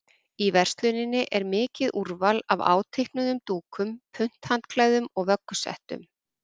Í versluninni er mikið úrval af áteiknuðum dúkum, punthandklæðum og vöggusettum.